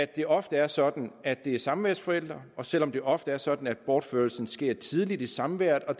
det ofte er sådan at det er samværsforældre og selv om det ofte er sådan at bortførelsen sker tidligt i samværet og